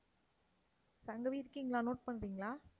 சங்கவி இருக்கீங்களா note பண்றீங்களா?